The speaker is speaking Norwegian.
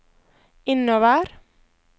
innover